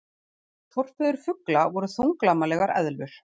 forfeður fugla voru þunglamalegar eðlur